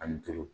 Ani duuru